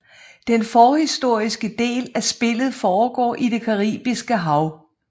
Den forhistoriske del af spillet foregår i det Caribiske Hav